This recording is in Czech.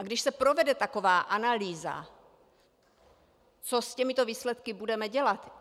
A když se provede taková analýza, co s těmi výsledky budeme dělat?